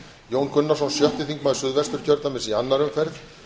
jón gunnarsson sjötti þingmaður suðvesturkjördæmis í annarri umferð